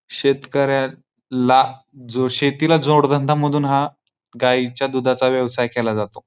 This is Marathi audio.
शेतकऱ्या ला जो शेतीला जोडधंदा म्हणुन हा गाईच्या दुधाचा व्यवसाय केला जातो.